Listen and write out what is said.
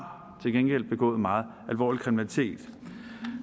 begået meget alvorlig kriminalitet